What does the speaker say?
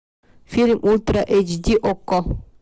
фильм ультра эйч ди окко